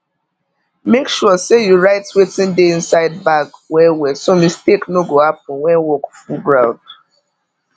make sure say you write wetin dey inside bag wellwell so mistake no go happen when work full ground